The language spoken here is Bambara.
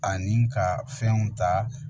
Ani ka fɛnw ta